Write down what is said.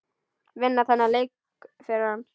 Vinna þennan leik fyrir hann!